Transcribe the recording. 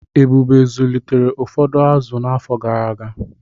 Ebube zụlitere ụfọdụ azụ n’afọ gara aga.